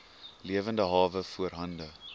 lewende hawe voorhande